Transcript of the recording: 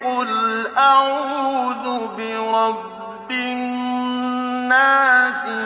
قُلْ أَعُوذُ بِرَبِّ النَّاسِ